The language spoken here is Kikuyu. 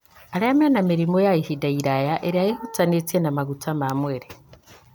Arĩa mena mĩrimũ ya ihinda iraya ĩrĩa ĩhutanĩtie na maguta ma mwĩrĩ.